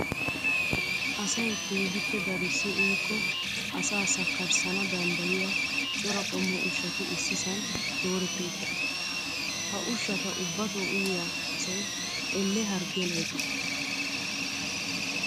Asayi keehippe darissi uyiikko asaa sakkarissana danddayiyaa cora qommo ushshati issisan dooretti uttidosona. Ha ushshata ubbatoo uyiyaa asayi elle harggiyan oyiqettes.